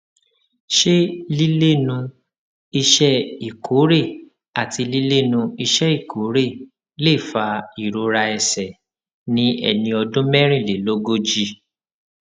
ṣé lílénu iṣé ìkórè àti lílénu iṣé ìkórè lè fa ìrora ẹsè ní ẹni ọdún mérìnlélógójì